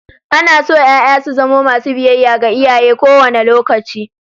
Ana so ƴaƴa su zamo masu biyayya ga iyaye kowane lokaci.